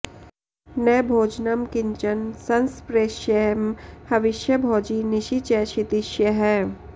न भोजनं किंचन संस्पृशेयं हविष्यभोजी निशि च क्षितीशयः